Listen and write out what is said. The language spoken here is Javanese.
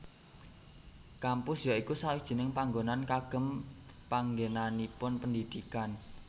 Kampus ya iku sawijining panggonan kagem panggenanipun pendidikan